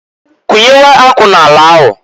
Kunyewe akwụ n'ala ahụ.